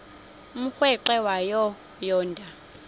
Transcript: umrweqe wayo yoonda